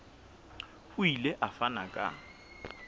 o ile a fana ka